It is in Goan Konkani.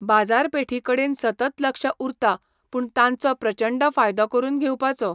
बाजारपेठी कडेन सतत लक्ष उरता पूण तांचो प्रचंड फायदो करून घेवपाचो